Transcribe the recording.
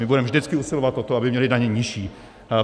My budeme vždycky usilovat o to, aby měli daně nižší.